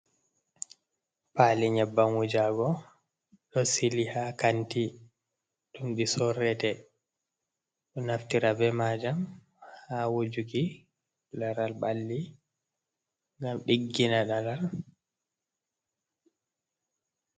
Paali nyabbam wujago ɗo sili ha kanti ɗum ɗi sorrete, ɗo naftira be majam ha wojuki laral ɓalli ngam ɗiggina laral.